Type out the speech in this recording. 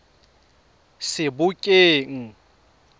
sebokeng